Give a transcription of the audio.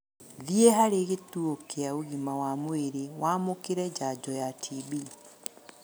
Thiĩ harĩ gĩtuo kĩa ũgima wa mwĩrĩ wamũkĩre njanjo ya TB